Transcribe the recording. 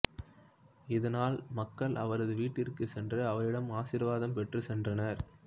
இதனால் மக்கள் அவரது வீட்டிற்குச் சென்று அவரிடம் ஆசீர்வாதம் பெற்று சென்றனர்